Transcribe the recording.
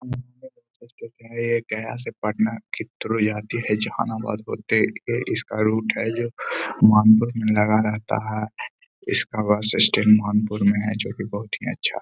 गया से पटना के थ्रू जाती है जहानाबाद होते हुए इसका रूट है जो में लगा रहता है। इसका बस स्टैंड नागपुर में है जो कि बोहत ही अच्छा --